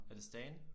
Er det Stan?